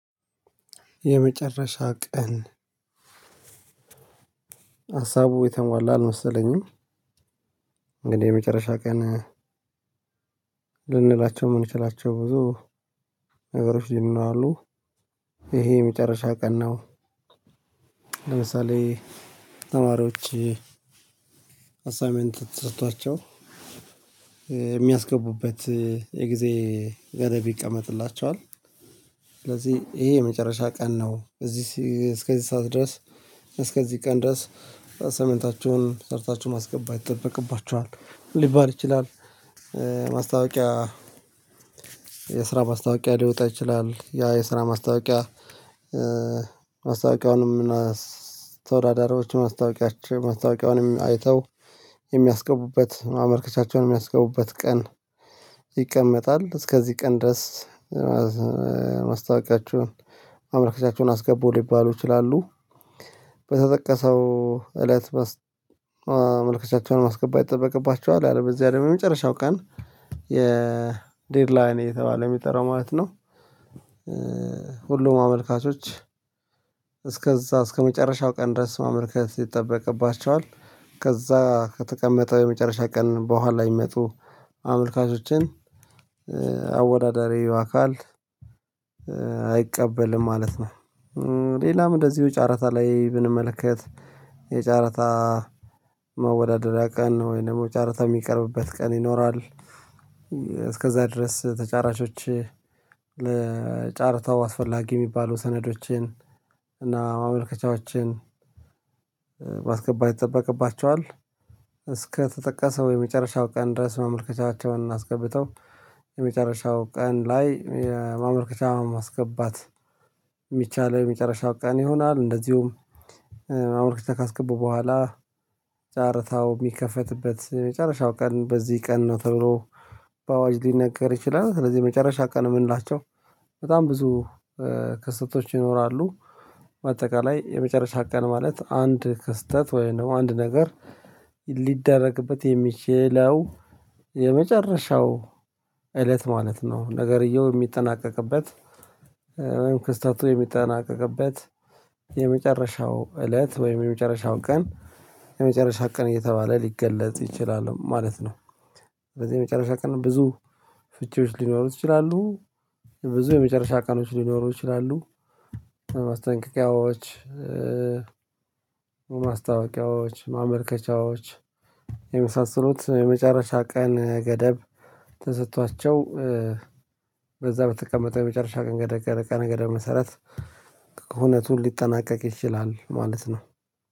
የመጨረሻ ቀን ሀሳቡ የተሟላ አልመሰለኝም። እንግዲህ የመጨረሻ ቀን ልንላቸው የምንችላቸው ብዙ ነገሮች ይሉናሉ። ይሄ የመጨረሻ ቀን ነው። ለምሳሌ ተማሪዎች አሳይንመንት ተሰጧቸው የሚያስገቡበት የጊዜ ገደብ ይቀመጥላቸዋል። ስለዚህ ይሄ የመጨረሻ ቀን ነው በዚህ እስከዚህ ሰዓት ድረስ እስከዚህ ቀን ድረስ አሳይመንታችሁን ሰርታችሁ ማስገባት ይጠበቅባችኋል ሊባል ይችላል። ማስታወቂያ የስራ ማስታወቂያ ሊወጣ ይችላል ያ የስራ ማስታወቂያ። ማስታወቂያውንም ምናስ ተወዳዳሪዎች ማስታወቂያቸው ማስታወቂያውንም አይተው የሚያስገቡበት ማመልከቻቸውንም የሚያስገቡበት ቀን ይቀመጣል እስከዚህ ቀን ድረስ ማስታወቂያችሁን ማመልከቻችሁን አስገቡ ሊባሉ ይችላሉ። በተጠቀሰው እለት ማመለካከቻቸውን ማስገባት ይጠበቅባቸዋል ያለ በዚያ አግሞ የመጨረሻው ቀን የዴድላይን እየተባለ የሚጠራው ማለት ነው። ሁሉም አመልካቾች እስከዛ እስከመጨረሻው ቀን ድረስ ማመልከት ይጠበቅባቸዋል ከዛ ከተቀመጠው የመጨረሻ ቀን በኋላ የሚመጡ አመልካቾችን አወዳዳሪው አካል አይቀበልም ማለት ነው። ሌላም እንደዚሁ ጫረታ ላይ ብንመለከት የጫረታ መወዳደሪያ ቀን ወይ ደግሞ ጨረታ የሚቀርብበት ቀን ይኖራል። እስከዛ ድረስ ተጫራቾች ለጨረታው አስፈላጊ የሚባሉ ሰነዶችን እና ማመልከቻዎችን ማስገባት ይጠበቅባቸዋል። እስከተጠቀሰው የመጨረሻው ቀን ድረስ ማመልከቻቸውን አስገብተው የመጨረሻው ቀን ላይ የማመልከቻ ማስገባት የሚቻለው የመጨረሻ ቀን ይሆናል። እንደዚሁም ማመልከቻ ካስገቡ በኋላ ጨርታው የሚከፈትበት መጨረሻው ቀን በዚህ ቀን ነው ተብሎ በአዋጅ ሊነገር ይችላል። ስለዚህ መጨረሻ ቀን የምንላቸው በጣም ብዙ ክስተቶች ይኖራሉ በአጠቃላይ የመጨረሻ ቀን ማለት አንድ ክስተት ወይንም አንድ ነገር ሊደረግበት የሚችለው የመጨረሻው እለት ማለት ነው። ነገርየው የሚጠናቀቅበት ወይም ክስተቱ የሚጠናቀቅበት የመጨረሻው እለት ወይም የመጨረሻው ቀን የመጨረሻው ቀን እየተባለ ሊገለጽ ይችላል ማለት ነው። በዚህ የመጨረሻ ቀን ብዙ ፍቺዎች ሊኖሩት ይችላሉ የመጨረሻ ቀኖች ሊኖሩ ይችላሉ። ማስጠንቀቂያዎች ማስታወቂያዎች ማመልከቻዎች የመሳሰሉት የመጨረሻ ቀን ገደብ ተሰጥቷቸው። በዛ በተቀመጠ የመጨረሻ ቀን ገደብ ቀን ገደብ መሰረት ሁነቱ ሊጠናቀቅ ይችላል ማለት ነው።